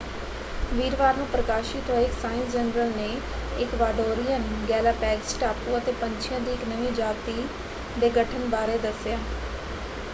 ਵੀਰਵਾਰ ਨੂੰ ਪ੍ਰਕਾਸ਼ਿਤ ਹੋਏ ਇੱਕ ਸਾਇੰਸ ਜਨਰਲ ਨੇ ਇਕਵਾਡੋਰੀਅਨ ਗੈਲਾਪੈਗਸ ਟਾਪੂਆਂ ‘ਤੇ ਪੰਛੀਆਂ ਦੀ ਇੱਕ ਨਵੀਂ ਜਾਤੀ ਦੇ ਗਠਨ ਬਾਰੇ ਦੱਸਿਆ।